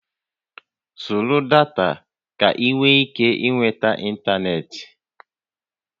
Zụrụ data ka ị nwee ike ịnweta ịntanetị!